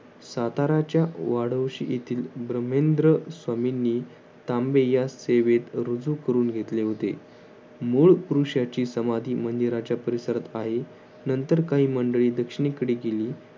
साताऱ्याच्या वाढवंश येथील भृमेंद्र स्वामींनी तांबे या सेवेत रुजू करून घेतले होते. मूळ पुरुषाची समाधी मंदिराच्या परिसरात आहे नंतर काही मंडळी दक्षिणेकडे गेली